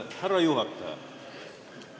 Härra juhataja!